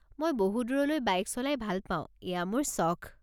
মই বহু দূৰলৈ বাইক চলাই ভাল পাওঁ, এইয়া মোৰ চখ।